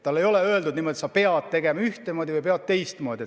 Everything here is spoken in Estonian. Talle ei ole öeldud, et sa pead otsustama ühtemoodi või teistmoodi.